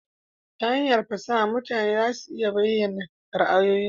Ta hanyar fasaha mutane za su iya bayyana ra'ayoyinsu